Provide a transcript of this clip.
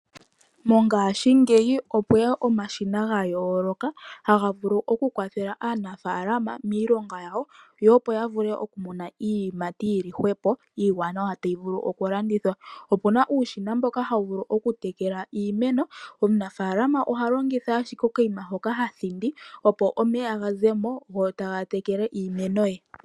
Mongashingeyi opweya omashina ga yooloka, ha ga vulu oku kwathela aanafaalama miilonga yawo, yo opo ya vule oku muna iiyimati yili hwepo, iiwanawa tayi vulu oku landithwa. Opena uushina mboka hawu vulu oku tekela iimeno. Omunafaalama oha longitha ashike okanima hoka ha thindi opo omeya ga ze mo, go taga tekele iimeno ye .